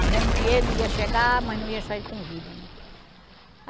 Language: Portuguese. Dizendo que ele ia chegar, mas não ia sair com vida, né?